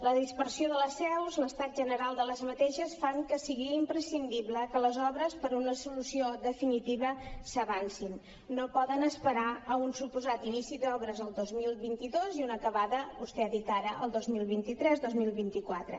la dispersió de les seus i l’estat general d’aquestes fan que sigui imprescindible que les obres per una solució definitiva s’avancin no poden esperar a un suposat inici d’obres el dos mil vint dos i una acabada vostè ho ha dit ara el dos mil vint tres dos mil vint quatre